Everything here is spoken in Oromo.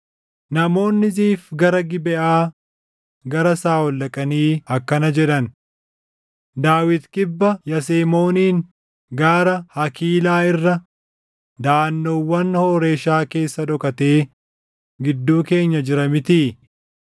Namoonni Ziif gara Gibeʼaa gara Saaʼol dhaqanii akkana jedhan; “Daawit kibba Yasemooniin gaara Hakiilaa irra daʼannoowwan Hooreshaa keessa dhokatee gidduu keenya jira mitii?